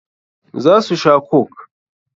Za su sha coke.